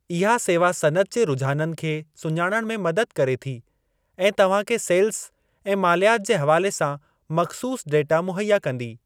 इहा सेवा सनइत जे रुझाननि खे सुञाणण में मदद करे थी ऐं तव्हां खे सेल्ज़ ऐं मालियात जे हवाले सां मख़सूसु डेटा मुहैया कंदी।